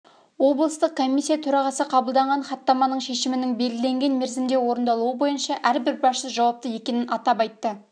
облыстық комиссия төрағасы қабылданған хаттаманың шешімінің белгіленген мерзімде орындалуы бойынша әрбір басшы жауапты екенін атап айтты